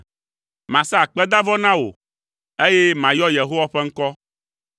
Masa akpedavɔ na wò, eye mayɔ Yehowa ƒe ŋkɔ.